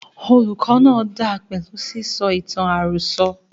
Olùkó náà dáa pẹlú sísọ ìtàn àròsọ.